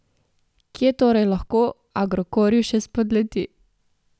Kje torej lahko Agrokorju še spodleti?